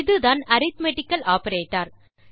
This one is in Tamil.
இதுதான் அரித்மெட்டிக்கல் ஆப்பரேட்டர்